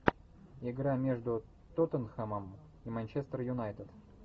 игра между тоттенхэмом и манчестер юнайтед